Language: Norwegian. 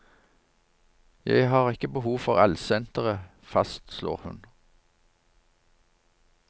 Jeg har ikke behov for allsenteret, fastslår hun.